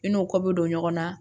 I n'o kɔ bɛ don ɲɔgɔn na